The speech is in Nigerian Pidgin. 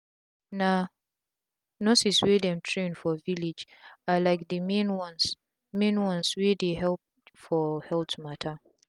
na nurses wey dem train for village are like the main ones main ones wey dey help for health matte